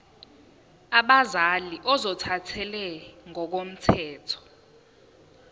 abazali ozothathele ngokomthetho